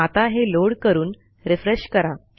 आता हे लोड करून रिफ्रेश करा